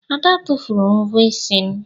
Ada tụfuru mvọ isi m.